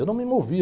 Eu não me movi.